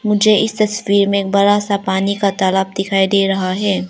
मुझे इस तस्वीर में एक बड़ा सा पानी का तालाब दिखाई दे रहा है।